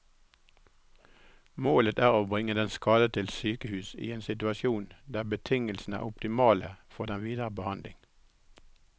Målet er å bringe den skadede til sykehus i en situasjon der betingelsene er optimale for den videre behandling.